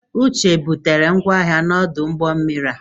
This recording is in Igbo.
Uche e butere ngwa ahịa ya n'ọdụ ụgbọ mmiri a?